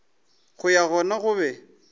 go ya gona o be